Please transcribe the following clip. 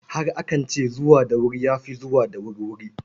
Har akan ce, zuwa da wuri ya fi zuwa da wurwuri.